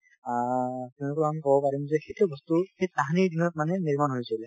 আ তেওঁলোকক আমি কব পাৰিম যে সেইটো বস্তু সেই তাহানিৰ দিনত মানে নিৰ্মাণ হৈছিলে ।